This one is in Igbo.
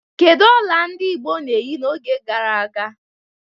Kedu ọla ndị Igbo na-eyi n'oge gara aga?